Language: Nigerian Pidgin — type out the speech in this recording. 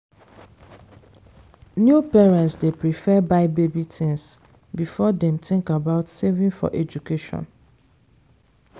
new parents dey prefer buy baby things before dem think about saving for education.